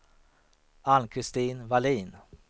Ann-Kristin Wallin